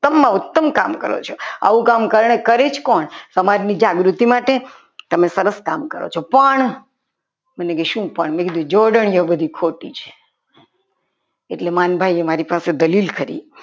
ઉત્તમમાં ઉત્તમ કામ કરો છો આવું કામ અત્યારે કરી જ કોણ સમાજની જાગૃતિ માટે તમે સરસ કામ કરો છો પણ મેં કીધું શું પણ જોડણીઓ બધી ખોટી ખોટી છે. એટલે માલ ભાઈએ મારી પાસે દલીલ કરી.